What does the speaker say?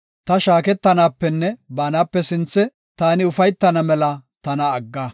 Ta shaaketanapenne baanape sinthe taani ufaytana mela tana agga.